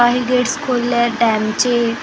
काही गेट्स खोलले आहेत डैमचे अ --